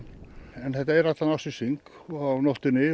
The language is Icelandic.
en þetta er allan ársins hring og á nóttunni